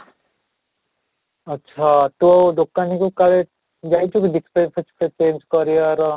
ଆଚ୍ଛା ତ ଦୋକାନୀ କୁ କାଲି ଯାଇଥିଲୁ display change କରିବାର